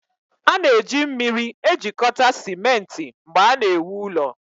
a na-eji mmiri ejikọta simenti mgbe a na-ewu ụlọ